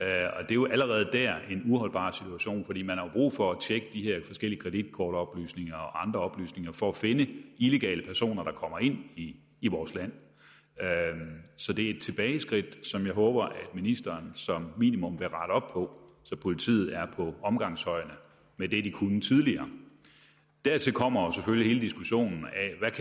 er jo allerede dér en uholdbar situation fordi man har brug for at tjekke de her forskellige kreditkortoplysninger og andre oplysninger for at finde illegale personer der kommer ind i i vores land så det er et tilbageskridt som jeg håber at ministeren som minimum vil rette op på så politiet er på omgangshøjde med det de kunne tidligere dertil kommer jo selvfølgelig hele diskussionen